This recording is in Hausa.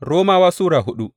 Romawa Sura hudu